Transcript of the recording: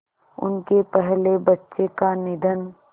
उनके पहले बच्चे का निधन